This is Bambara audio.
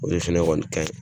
O de fɛnɛ kɔni ka ɲi.